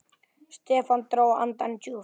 Stefán dró andann djúpt.